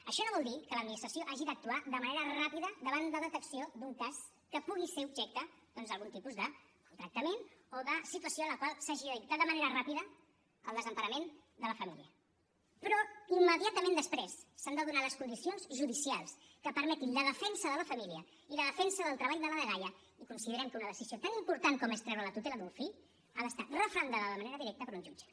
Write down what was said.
això no vol dir que l’administració no hagi d’actuar de manera ràpida davant la detecció d’un cas que pugui ser objecte doncs d’algun tipus de maltractament o de situació en la qual s’hagi de dictar de manera ràpida el desemparament de la família però immediatament després s’han de donar les condicions judicials que permetin la defensa de la família i la defensa del treball de la dgaia i considerem que una decisió tan important com és treure la tutela d’un fill ha d’estar referendada de manera directa per un jutge